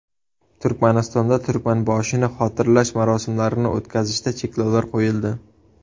Turkmanistonda Turkmanboshini xotirlash marosimlarini o‘tkazishda cheklovlar qo‘yildi.